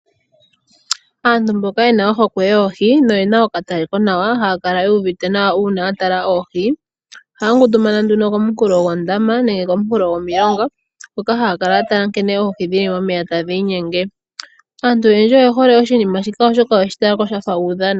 Aantu mboka yena ohokwe yoohi noyena okatale konawa ohaya kala yuuvite nawa uuna yatala oohi, ohaya ngundumana nduno kominkulo dhondama nenge kominkulo gomilonga hoka haya kala yatala nkene oohi dhili momeya tadhi inyenge, antu oyendji oyehole oshinima shika oshoka oyeshi talako shafa uudhano.